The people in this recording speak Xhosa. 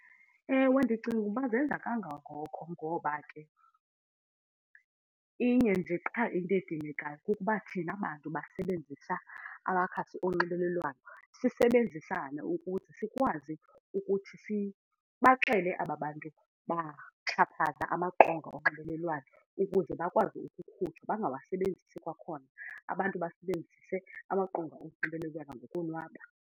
Ewe, ndicinga ukuba zenza kangangoko ngoba ke inye nje qha into edingekayo kukuba thina bantu basebenzisa amakhasi onxibelelwano sisebenzisane ukuthi sikwazi ukuthi sibaxele aba bantu baxhaphaza amaqonga onxibelelwano ukuze bakwazi ukukhutshwa, bangawasebenzisi kwakhona. Abantu basebenzise amaqonga onxibelelwano ngokonwaba.